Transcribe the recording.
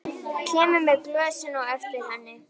Kemur með glösin á eftir henni.